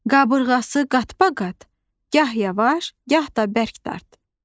Qabırğası qat-baqat, gah yavaş, gah da bərk dart.